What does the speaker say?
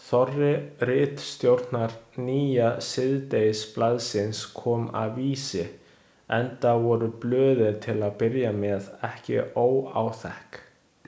Þorri ritstjórnar nýja síðdegisblaðsins kom af Vísi, enda voru blöðin til að byrja með ekki óáþekk.